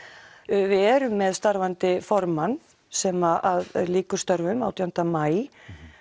við erum með starfandi formann sem lýkur störfum átján maí